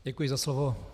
Děkuji za slovo.